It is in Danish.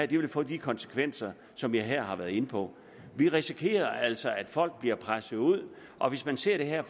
det vil få de konsekvenser som jeg her har været inde på vi risikerer altså at folk bliver presset ud og hvis man ser det her